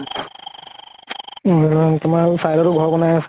তোমাৰ side তো ঘৰ বনাই আছে।